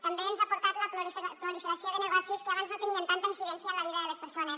també ens ha portat la proliferació de negocis que abans no tenien tanta incidència en la vida de les persones